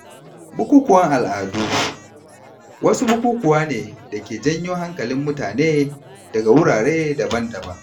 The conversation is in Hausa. Bukukuwan al’adu wasu bukukuwa ne dake janyo hankalin mutane daga wurare daban-daban.